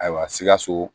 Ayiwa sikaso